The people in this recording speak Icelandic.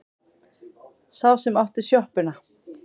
Sá sem átti sjoppuna.